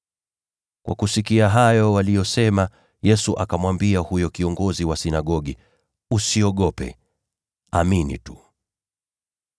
Aliposikia hayo waliyosema, Yesu akamwambia huyo kiongozi wa sinagogi, “Usiogope. Amini tu.”